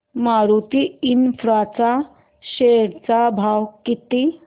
Maruti infra च्या share चा भाव किती